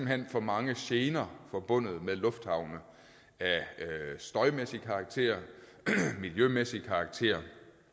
hen for mange gener forbundet med lufthavne af støjmæssig karakter miljømæssig karakter